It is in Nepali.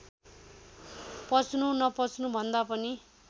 पच्नु नपच्नुभन्दा पनि